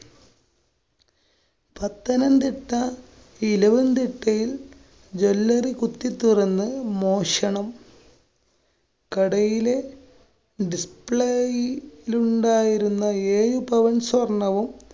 പത്തനംതിട്ട ഇലവുംതിട്ടയില്‍ jwellary കുത്തിത്തുറന്ന് മോഷണം. കടയിലെ dis~play യിലുണ്ടായിരുന്ന ഏഴു പവന്‍ സ്വര്‍ണ്ണവും.